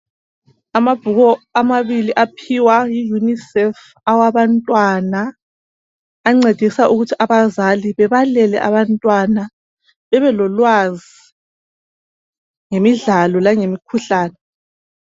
Amabhuku amabili aphiwa yiUnicef abantwana ancedisa ukuthi abazali bebalele abantwana bebelolwazi ngemidlalo langemikhuhlane.